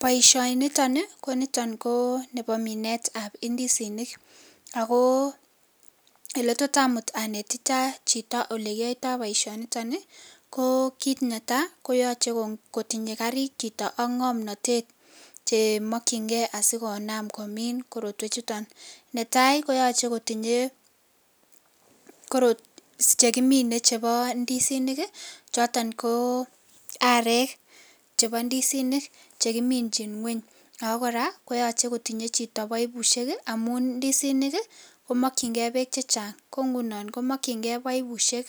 Boishoni ton koniton ko Nebo Minet tab indisinik ago eletot amuch anetitak Chito olekiyoito boishoni ton ko kit netai koyoche kotinye karit Chito ak ngomnotet Che mokingei asikonam komin korotwek chuton netai koyoche kotinye ckekimine chebo ndisinik choton ko arek chebo ndisinik chekiminjin ngweny ako kora koyoche kotinye Chito boibushek amun ndisinik komokin gei bek chechang ko ngunon komokin gei boibushek